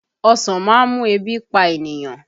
Ọsàn má ń mú ebi pa ènìyàn